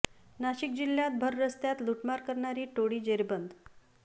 नाशिक जिल्ह्यात भर रस्त्यात लुटमार करणारी टोळी जेरबंद